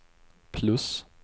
plus